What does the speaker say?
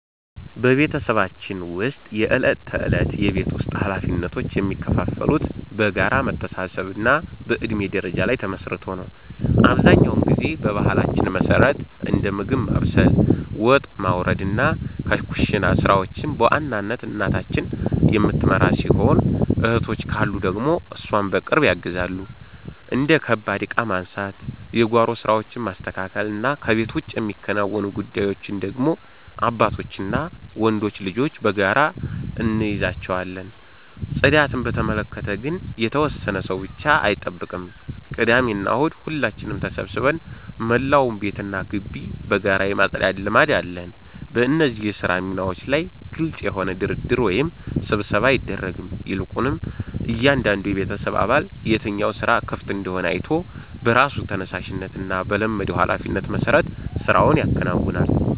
በቤተሰባችን ውስጥ የዕለት ተዕለት የቤት ውስጥ ኃላፊነቶች የሚከፋፈሉት በጋራ መተሳሰብና በእድሜ ደረጃ ላይ ተመስርቶ ነው። አብዛኛውን ጊዜ በባህላችን መሠረት እንደ ምግብ ማብሰል፣ ወጥ ማውረድና የኩሽና ሥራዎችን በዋናነት እናታችን የምትመራው ሲሆን፣ እህቶች ካሉ ደግሞ እሷን በቅርብ ያግዛሉ። እንደ ከባድ ዕቃ ማንሳት፣ የጓሮ ሥራዎችን ማስተካከልና ከቤት ውጭ የሚከናወኑ ጉዳዮችን ደግሞ አባታችንና ወንዶች ልጆች በጋራ እንይዛቸዋለን። ጽዳትን በተመለከተ ግን የተወሰነ ሰው ብቻ አይጠብቅም፤ ቅዳሜና እሁድ ሁላችንም ተሰባስበን መላውን ቤትና ግቢ በጋራ የማጽዳት ልማድ አለን። በእነዚህ የሥራ ሚናዎች ላይ ግልጽ የሆነ ድርድር ወይም ስብሰባ አይደረግም፤ ይልቁንም እያንዳንዱ የቤተሰብ አባል የትኛው ሥራ ክፍት እንደሆነ አይቶ በራሱ ተነሳሽነትና በለመደው ኃላፊነት መሠረት ሥራውን ያከናውናል።